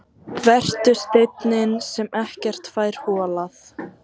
Vertu steinninn sem ekkert fær holað.